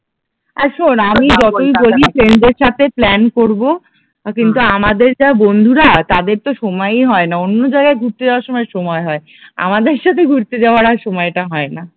কিন্তু আমাদের যা বন্ধুরা তাদের তো সময়ই হয় না অন্য জায়গায় ঘুরতে যাওয়ার সময় সময় হয়, আমাদের সাথে ঘুরতে যাওয়ার আর সময় টা হয় না